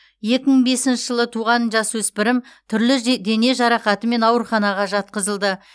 екі мың бесінші жылы туған жасөспірім түрлі же дене жарақатымен ауруханаға жатқызылды